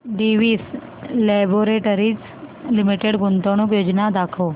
Divi's laboratories limited गुंतवणूक योजना दाखव